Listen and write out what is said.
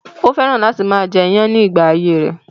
Ó fẹ́ràn láti máa jẹ iyán ní ìgbà ayé rẹ̀